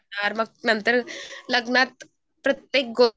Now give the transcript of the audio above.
मग नंतर लग्नात नंतर प्रत्येक